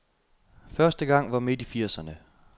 Første gang var midt i firserne.